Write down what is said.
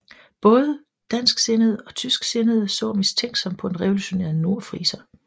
Både dansksindede og tysksindede så mistænksom på den revolutionære nordfriser